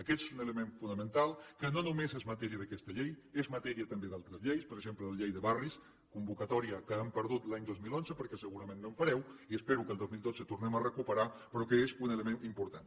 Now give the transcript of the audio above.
aquest és un element fonamental que no només és matèria d’aquesta llei és matèria també d’altres lleis per exemple la llei de barris convocatòria que hem perdut l’any dos mil onze perquè segurament no en fareu i que espero que el dos mil dotze tornem a recuperar però que és un element important